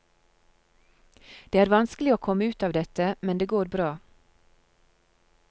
Det er vanskelig å komme ut av dette, men det går bra.